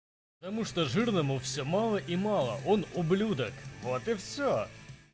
потому что жирному всё мало и мало он ублюдак вот и всё